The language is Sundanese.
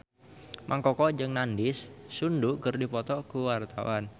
Mang Koko jeung Nandish Sandhu keur dipoto ku wartawan